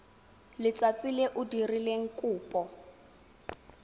letsatsi le o dirileng kopo